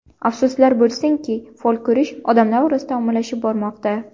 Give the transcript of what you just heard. Afsuslar bo‘lsinki fol ko‘rish odamlar orasida ommalashib bormoqda.